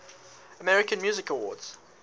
american music awards